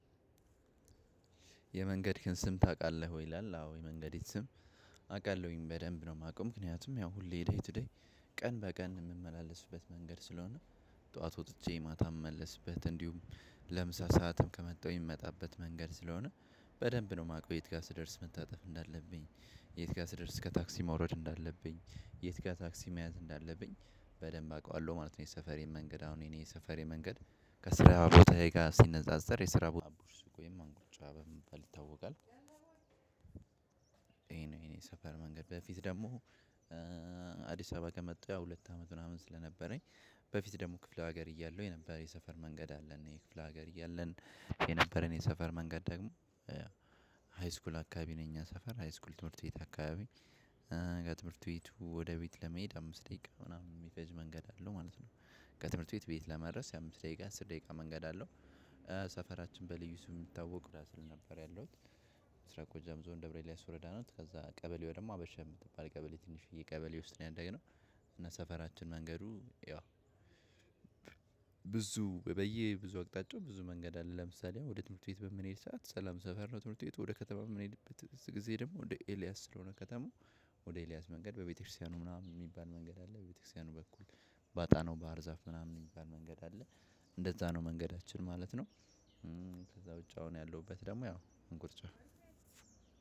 የመንገድክን ከስም ታውቃለህ ይላል? አዎ የመንገዴን ስም አውቃለሁኝ በደንብ ነው የማውቀው። ምክንያቱም ያው ሁሌ የዳይት ቱዴይ ቀን በቀን የምመላለስበት መንገድ ስለሆነ። ጠዋት ወጥቼ ማታ እመለስበት እንዲሁም ለምሳ ሰዓትም ከመጣው የምመጣበት መንገድ ስለሆነ። በደንብ ነው ማቀው የት ጋር ስደርስ መታጠፍ እንዳለብኝ የት ጋር ስደርስ ከታክሲ መውረድ እንዳለብኝ የት ጋር ታክሲ መያዝ እንዳለብኝ በደንብ አውቃለሁ ማለት ነው። የሰፈሬ መንገድ አሁን የኔ የሰፈሬ መንገድ ከስራ ቦታዬ ጋር ሲነጻጸር የስራ ባቡር ስጎይ መንግልጫ በምበል ታወቃለህ? ይሄ ነው የኔ ሰፈር መንገድ በፊት ደግሞ አዲስ አበባ ከመጣ ሁለት አመት ምናምን ስለነበረኝ። በፊት ደግሞ ክፍለ ሀገር እያለሁ የነበረ የሰፈር መንገድ አለን የክፍለ ሀገር እያለን የነበረን የሰፈር መንገድ ደግሞ ሃይስኩል አካባቢ ነው። ሰፈር ትምህርት ቤት አካባቢ ከትምህርት ቤቱ ወደ ቤት ለመሄድ አምስት ደቂቃ ምናምን የሚፈጅ መንገድ አለው ማለት ነው። ከትምህርት ቤት ቤት ለመድረስ የአምስት ደቂቃ አስር ደቂቃ መንገድ አለው። ሰፈራችን በልዩ ስሙ የሚታወቀው ምስራቅ ጎጃም ዞን ደብረይስ ወረዳ ቀበሌ ደግሞ ሀበሻ። ከሰፈራችን መንገዱ ያው ብዙ በየብዙ አቅጣጫው ብዙ መንገድ አለ ለምሳሌ ወደ ትምህርት ቤት በምንሄድ ሰዓት ሰላም ሰፈር ነው። ትምህርት ቤት ወደ ከተማ የምንሄድበት ጊዜ ደግሞ ወደ ኤልያስ ስለሆነ ከተማ ወደ ኤልያስ መንገድ በቤተክርስቲያኑ ምናምን የሚባል መንገድ አለ በቤተክርስቲያኑ በኩል። ባጣነው ባህር ዛፍ ምናምን የሚባል መንገድ አለ። እንደዛ ነው መንገዳችን ማለት ነው። ከዛ ውጪ አሁን ያለሁበት ደግሞ ያው እንቁርጭፍ